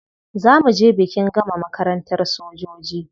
Za mu je bikin gama makarantar sojoji.